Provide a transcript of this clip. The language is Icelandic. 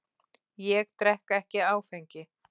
Ég drekk ekki áfengi.